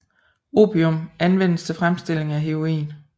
Opium anvendes til fremstillingen af heroin